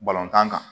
tan kan